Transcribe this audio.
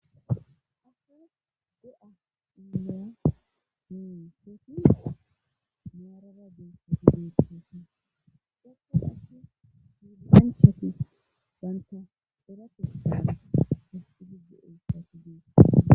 Asee do'a inya muu fepti maaraba beessati deetteti dhappun ass hiuzinanchati banta eratessaan hassigiddu utossati deet